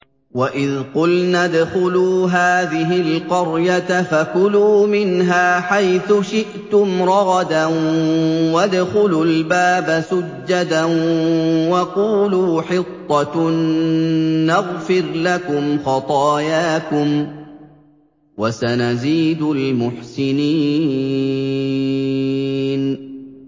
وَإِذْ قُلْنَا ادْخُلُوا هَٰذِهِ الْقَرْيَةَ فَكُلُوا مِنْهَا حَيْثُ شِئْتُمْ رَغَدًا وَادْخُلُوا الْبَابَ سُجَّدًا وَقُولُوا حِطَّةٌ نَّغْفِرْ لَكُمْ خَطَايَاكُمْ ۚ وَسَنَزِيدُ الْمُحْسِنِينَ